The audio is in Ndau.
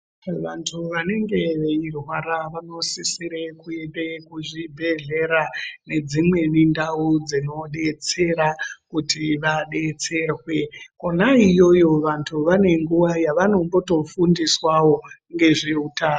Vantu vanenge veirwara vanosisire kuende kuzvibhedhlera nedzimweni ndau dzinobetsera kuti vabetserwe kona iyoyo vantu vanenguva yavanomboto fundiswawo ngezveutano.